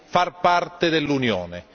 far parte dell'Unione.